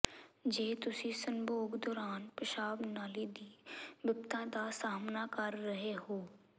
ਜੇ ਤੁਸੀਂ ਸੰਭੋਗ ਦੌਰਾਨ ਪਿਸ਼ਾਬ ਨਾਲੀ ਦੀ ਬਿਪਤਾ ਦਾ ਸਾਹਮਣਾ ਕਰ ਰਹੇ ਹੋ